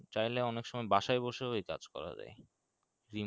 চাইলে অনেক সময় বাসায় বসে এ কাজ করা যায়